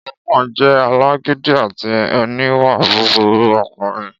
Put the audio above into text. Ọba náà jẹ́ alágídí àti oníwà búburú ọkùnrin